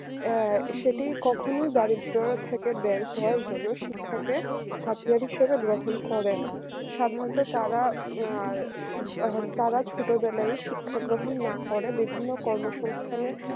আ সেটি কখনোই দারিদ্র থেকে বের হওয়ার জন্য থাকে হাতিয়ার হিসেবে গ্রহণ করে না সাধারণত তারা আর তারা ছোটবেলায় শিক্ষা গ্রহণ না করা বিভিন্ন কর্মসংস্থানে